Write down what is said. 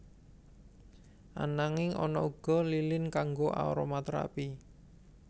Ananging ana uga lilin kanggo aromaterapi